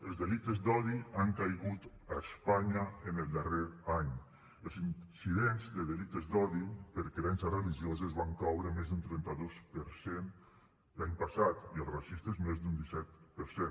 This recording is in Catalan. els delictes d’odi han caigut a espanya en el darrer any els incidents de delictes d’odi per creences religioses van caure més d’un trenta dos per cent l’any passat i els racistes més d’un disset per cent